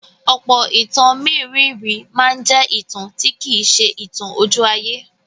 Ọ̀pọ̀ ìtàn mérìíìírì máa ń jẹ́ ìtàn tí kì í ṣe ìtàn ojú-ayé.